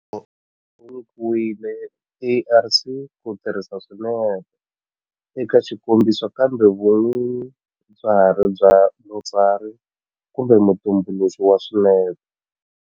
Wu nyikiwile ARC ku tirhisa swinepe eka xikombiso kambe vun'winyi bya ha ri bya mutsari kumbe mutumbuluxi wa swinepe.